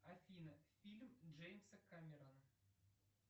афина фильм джеймса камерона